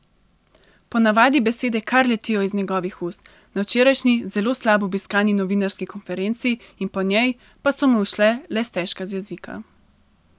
Po navadi besede kar letijo iz njegovih ust, na včerajšnji zelo slabo obiskani novinarski konferenci in po njej pa so mu šle le stežka z jezika.